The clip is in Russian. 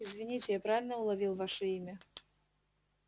извините я правильно уловил ваше имя